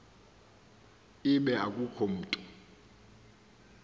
ibe akukho mntu